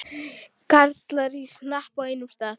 Karlar í hnapp á einum stað.